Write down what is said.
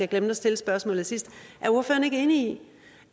glemte at stille spørgsmålet sidst er ordføreren ikke enig i